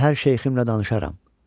Səhər şeyximlə danışaram.